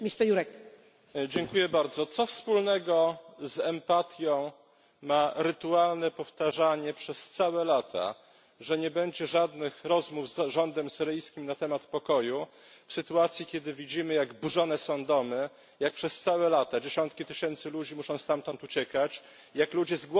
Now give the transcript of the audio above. Co wspólnego z empatią ma rytualne powtarzanie przez całe lata, że nie będzie żadnych rozmów z rządem syryjskim na temat pokoju w sytuacji, kiedy widzimy, jak burzone są domy, jak przez całe lata dziesiątki tysięcy ludzi muszą stamtąd uciekać, jak ludzie umierają z głodu w oblężonych miastach?